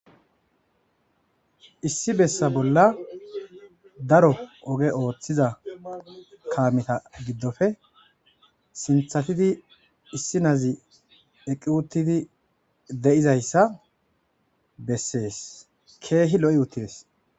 Issi bessa bolla daro ogge othizza kametha gidoppe sinthathidi issinazzi eqqi uttidi de'zayssa besses. Keehi loo' uthidess.